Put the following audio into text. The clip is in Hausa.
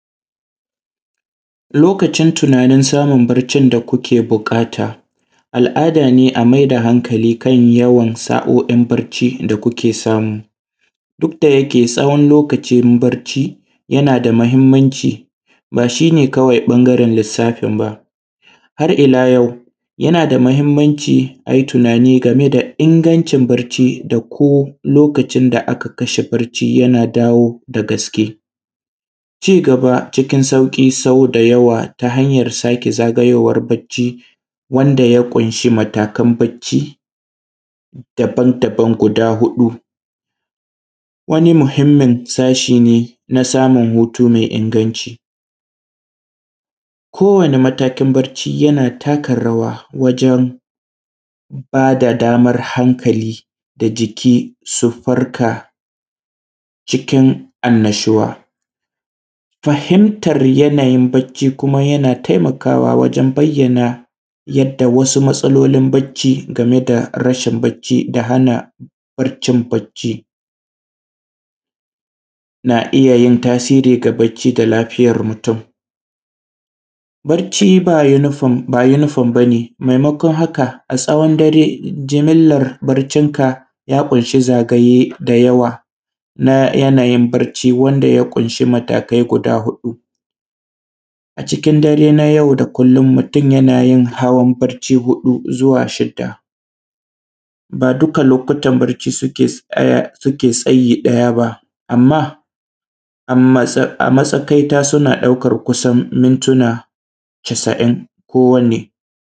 Lokacin smun tinanin samun barcin da kuke buƙata al’ada ne a mai da hankali kan yawan sa’oin barci da kuke samu duk da ya ce tsawon lokcin barci yana da mahinmanci ba shi ne kawai ɓangaren lissafin ba, har ila yau yana da mahinmaci a yi tunani game da ingancin bacci da ko lokacin da ka kwashe bacci yana dawo ga gaske cigaba cikin sauki, sauda yawa ta hanyan sake zagayowan bacci wanda ya ƙunshi matakan bacci daban-daban guda huɗu wani muhinmin sashi ne na samun hutu mai inganci ko wani matakin bacci yana takarawa wajen ba da daman hankali da jiki su farka cikin annashuwa fahimtan yanayin bacci. Kuma yana taimakawa wajen bayyana wasu matsalolin bacci game da rashin bacci da hana baccin, bacci na iyayin tasiri ga bacci da kuma lafiyan mutun, bacci ba yunifom ba ne mai makon haka a tsawon dare jimillar baccinka ya ƙunshi zagaye da yawa na yanayin bacci wanda ya kunshi matakai guda huɗu, a cikin dare na yau da kullon mutum yanayin hawan bacci sau huɗu zuwa shidda ba duka lokutan bacci suke tsayi ɗaya ba, a matsakaita suna ɗaukan mintina casin kowanne.